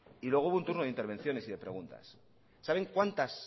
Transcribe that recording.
y luego hubo un turno de intervenciones y de preguntas saben cuántas